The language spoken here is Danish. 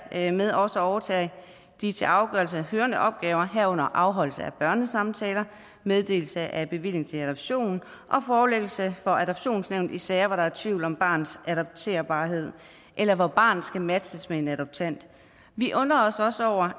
dermed også overtage de til afgørelse hørende opgaver herunder afholdelse af børnesamtaler meddelelse af bevilling til adoption og forelæggelse for adoptionsnævnet i sager hvor der er tvivl om barnets adopterbarhed eller hvor barnet skal matches med en adoptant vi undrer os også over